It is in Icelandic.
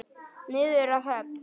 Niður að höfn.